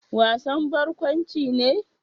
Wasan barkwanci ne?